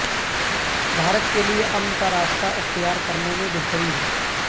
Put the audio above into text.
بھارت کیلئے امن کا راستہ اختیار کرنے میں بہتری ہے